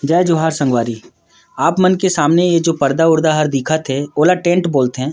जय जोहर संगवारी आप मन के सामने ये जो पर्दा वर्दा हर दिखा थे ओला टेंट बोल थे।